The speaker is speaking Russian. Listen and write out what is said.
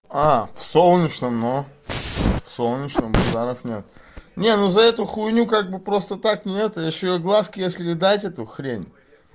а в солнечном ну в солнечном базаров нет не ну за эту хуйню как бы просто так нет ещё и огласке если дать эту хрень